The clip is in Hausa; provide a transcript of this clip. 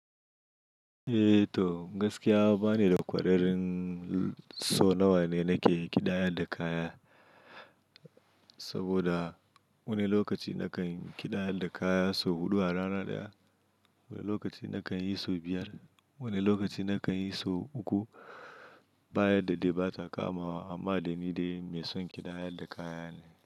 Eh to, gaskiya ba ni da ƙwararin sau nawa ne nake ƙidayar da kaya, saboda wani lokaci nakan ƙidayar da kaya sau huɗu a rana ɗaya, wani lokaci nakan yi sau biyar, wani lokaci nakan yi sau uku. Ba yadda dai ba ta kamawa amma da ni dai mai son ƙidayar da kaya ne.